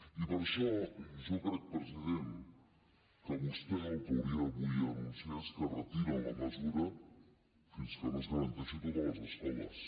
i per això jo crec president que vostè el que hauria avui d’anunciar és que retiren la mesura fins que no es garanteixi a totes les escoles